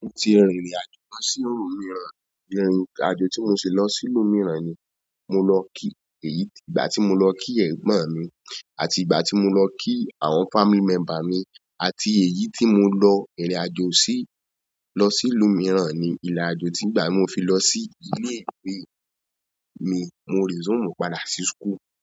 Mo ti rìnrìn àjò lọ sí ìlú mìíràn. Irin àjò tí mo ṣe lọ sí ìlú mìíràn ni mo lọ kí èyí, ìgbà tí mo lọ kí ẹ̀gbọ́n mi àti ìgbà tí mo lọ kí àwọn family member mi àti èyí tí mo lọ rìnrìn àjò sí, lọ sí ìlú mìíràn ni ìrìnàjò tí ìgbà mo fi lọ sí ilé ìwé mi, mo resume padà sí school.